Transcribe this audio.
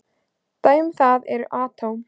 Dæmi um þetta eru atóm.